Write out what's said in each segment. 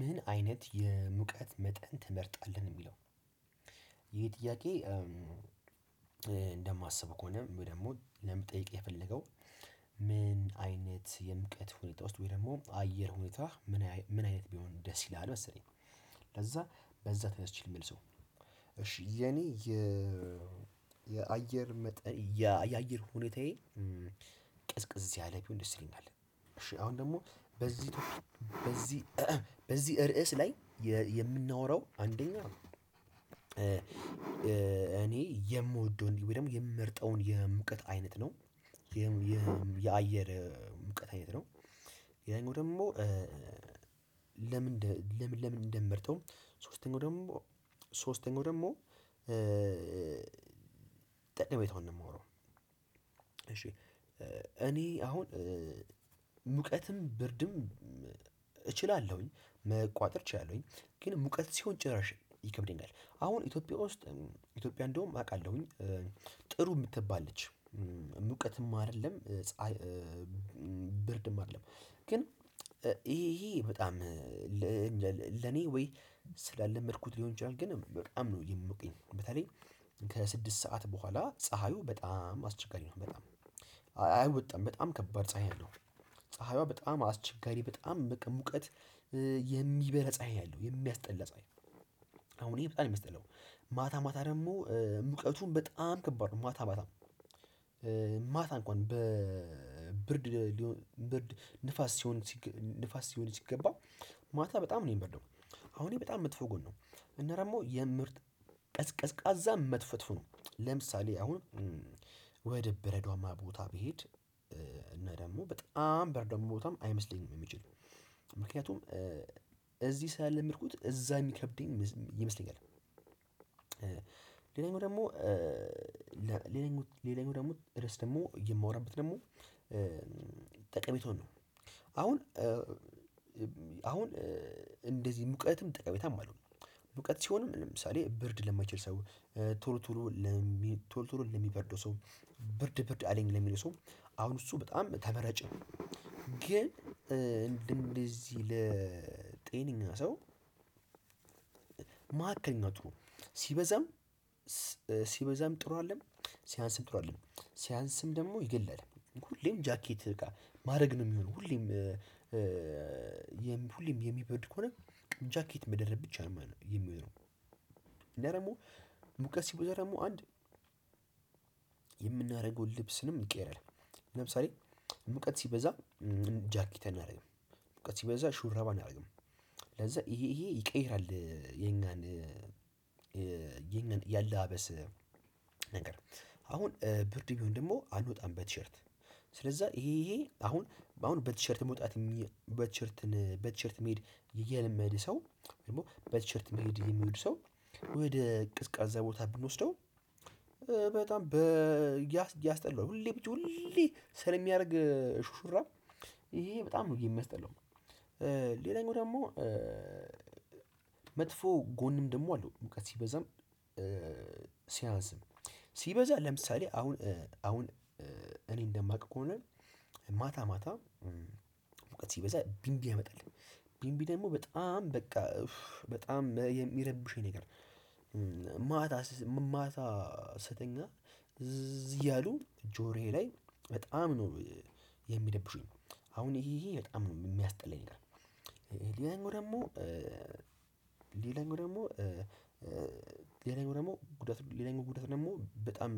ምን አይነት የሙቀት መጠን ትመርጣለህ ሚለው ይሄ ጥያቄ? እንደማስበው ከሆነ ወይ ደግሞ ለመጠየቅ የፈለገው ምን አይነት የሙቀት ሁኔታ ውስጥ ወይ ደግሞ አየር ሁኔታ ምን አይነት ቢሆን ደስ ይልሃል? መሰለኝ ለዛ በዛ ተነስቼ ልመልሰው እሺ የኔ የአየር መጠን የአየር ሁኔታዬ ቅዝቅዝ ያለ ቢሆን ደስ ይለኛል። እሺ አሁን ደግሞ በዚህ ቶፒክ ላይ በዚህ በዚህ ርዕስ ላይ የምናወራው አንደኛ እኔ የምወደው እንዲህ ወይ ደግሞ የምመርጠውን የሙቀት አይነት ነው። የም የአየር ሙቀጥ አይነት ነው። ያኛው ደሞ ለምንደ ለምን ለምን እንምንመርጠው ሶስተኛው ደግሞ ሶስተኛው ደግሞ ጠቀሜታዉን ነው የማወራው። እሺ እኔ አሁን ሙቀትም ብርድም እችላለሁኝ መቋጠር እችላለሁኝ መቁዋጠር እችላለሁኝ ግን ሙቀት ሲሆን ጭራሽ ይከብደኛል። አሁን ኢትዮጵያ ውስጥ ኢትዮጵያ እንደውም አውቃለሁኝ ጥሩ የምትባል ነች ሙቀትም አይደለም። ብርድም አይደለም። ግን ይሄ ይሄ በጣም ለኔ ወይ ስላለመድኩት ሊሆን ይችላል ግን በጣም ነው የሚሞቀኝ። በተለይ ከስድስት ሰዓት በኋላ ፀሀዩ በጣም አስቸጋሪ ነው በጣም አይወጣም በጣም ከባድ ፀሀይ ነው። ፀሀይዋ በጣም አስቸጋሪ በጣም ሙቀት የሚበረ ፀሀይ ነው ያለሁ የሚያስጠላ ፀሀይ ነው። ያለው አሁን ይሄ በጣም የሚያስጠላ ማታ ማታ ደግሞ ሙቀቱን በጣም ከባድ ነው ማታ ማታ። ማታ እንኳን በብርድ ሊሆን ብርድ ንፋስ ሲሆን ንፋስ ሲሆን ሲገባ ማታ በጣም ነው የሚበርደው። አሁን ይሄ በጣም መጥፎ ጎን ነው። እና ደሞ የምርት ቀዝ ቀዝቃዛ መትፈትፉ ነው። ለምሳሌ አሁን ወደ በረዷማ ቦታ ብሄድ እና ደግሞ በጣም በርዷማ ቦታም አይመስለኝም የሚችለው ምክንያቱም እዚህ ስላለመድኩት እዛ የሚከብደኝ ይመስለኛል። ሌላኛው ደግሞ ሌላኛው ሌላኛው ደግሞ ድረስ ደግሞ የማወራበት ደግሞ ጠቀሜታውን ነው። አሁን እህ አሁን እንደዚህ ሙቀትም ጠቀሜታም አለው። ሙቀት ሲሆንም ለምሳሌ ብርድ ለማይችል ሰው ቶሎ ቶሎ ቶሎ ቶሎ ለሚበርደው ሰው ብርድ ብርድ አለኝ ለሚሉ ሰው አሁን እሱ በጣም ተመራጭ። ግን እንደዚህ ለጤነኛ ሰው ማዕከልኛቱ ሲበዛም ሲበዛም ጥሩ አይደለም። ሲያንስም ጥሩ አይደለም። ሲያንስም ደግሞ ይገላል። ሁሌም ጃኬትህ በቃ ማድረግ ነው የሚሆነው ሁሌም ሁሌም የሚበርድ ከሆነ ጃኬት መደረብ ብቻ ነው የሚሆነው። እና ደግሞ ሙቀስ ሲበዛም ደግሞ አንድ የምናደርገውን ልብስንም ይቀየራል። ለምሳሌ ሙቀት ሲበዛ ጃኬት አናደርግም ሙቀት ሲበዛ ሹራብ አናረግም። ለዛ ይሄ ይሄ ይቀይራል። የኛን የኛን ያለባበስ ነገር አሁን ብርድ ቢሆን ደግሞ አንወጣም በቲሸርት። ስለዛ ይሄ ይሄ አሁን አሁን በቲሸርት መውጣት በቲሸርት በቲሸርት መሄድ እየለመድን ሰው ደግሞ በቲሸርት መሄድ የሚወድ ሰው ወደ ቀዝቃዛ ቦታ ብንወስደው። በጣም በ ያስ ያስጠላውል ሁሌ ብቻ ሁሌ ስለሚያደርግ ሹሹራብ ይሄ በጣም ነው የሚያስጠላው። ሌላኛው ደግሞ መጥፎ ጎንም ደግሞ አለው ሙቀት ሲበዛም። ሲያንስም ሲበዛ ለምሳሌ አሁን አሁን እኔ እንደማቅ ከሆነ ማታ ማታ ሲበዛ ቢንቢ ያመጣል። ቢንቢ ደግሞ በጣም በቃ ኡፍ በጣም የሚረብሸኝ ነገር። ማታ ማታ ስተኛ እዝ እያሉ ጆሮዬ ላይ በጣም ነው የሚደብሹኝ። አሁን ይሄ ይሄ በጣም ነው የሚያስጠላኝ። ሌላኛው ደግሞ ሌላኛው ደግሞ ሌላኛው ደግሞ ጉዳት ሌላኛው ጉዳት ደግሞ በጣም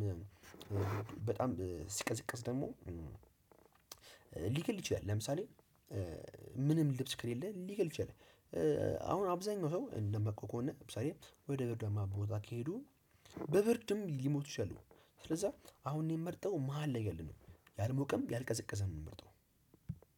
በጣም ሲቀዝቀዝ ደግሞ ሊገል ይችላል። ለምሳሌ ምንም ልብስ ከሌለ ሊገል ይችላል። አሁን አብዛኛው ሰው እንደማቀው ከሆነ ለምሳሌ ወደ በርዳማ ቦታ ከሄዱ በብርድም ሊሞቱ ይችላሉ። ስለዛ አሁን እኔን ምመርጠው መሃል ያለ ነው ያልሞቀም ያልቀዘቀዘም ነው የምምርጠው።